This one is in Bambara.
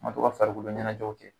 An ka to ka farikolo ɲɛnajɛw kɛ .